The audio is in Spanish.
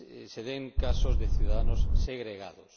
se den casos de ciudadanos segregados.